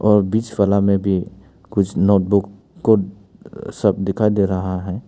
और बीच वाला में भी कुछ नोटबुक को सब दिखाई दे रहा है।